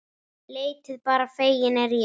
Leitið bara, feginn er ég.